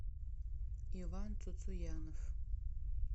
иван цуцуянов